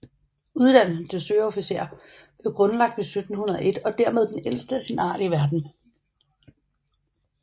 Uddannelsen til søofficer blev grundlagt i 1701 og er dermed den ældste af sin art i verden